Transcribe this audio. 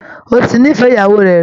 Ó ti nífẹ̀ẹ́ ìyàwó rẹ̀ rí